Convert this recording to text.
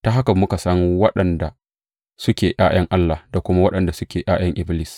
Ta haka muka san waɗanda suke ’ya’yan Allah da kuma waɗanda suke ’ya’yan Iblis.